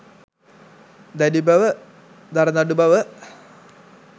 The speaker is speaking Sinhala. දැඩි බව, දරදඬු බව